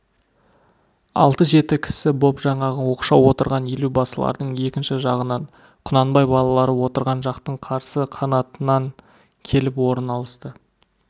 алты-жеті кісі боп жаңағы оқшау отырған елубасылардың екінші жағынан құнанбай балалары отырған жақтың қарсы қанатынан келіп орын алысты